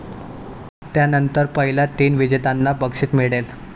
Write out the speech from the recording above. त्यानंतर पहिल्या तीन विजेत्यांना बक्षीस मिळेल.